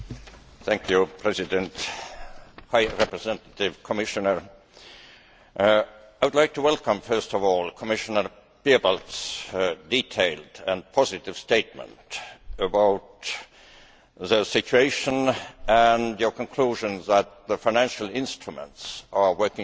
Mr President, High Representative, Commissioner, I would like to welcome first of all Commissioner Piebalgs' detailed and positive statement on the situation and his conclusions that the financial instruments are working well.